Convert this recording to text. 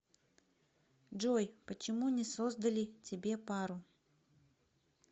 джой почему не создали тебе пару